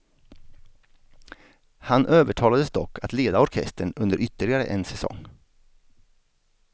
Han övertalades dock att leda orkestern under ytterligare en säsong.